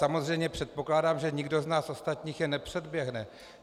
Samozřejmě předpokládám, že nikdo z nás ostatních je nepředběhne.